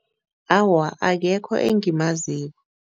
Awa, akekho engimaziko.